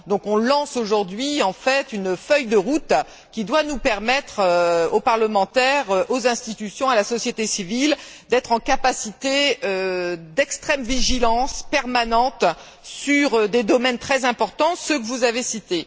Donc, on lance aujourd'hui en fait une feuille de route qui doit permettre aux parlementaires, aux institutions, à la société civile, d'être en capacité d'extrême vigilance permanente sur des domaines très importants, ceux que vous avez cités.